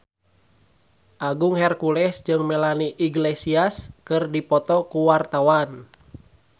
Agung Hercules jeung Melanie Iglesias keur dipoto ku wartawan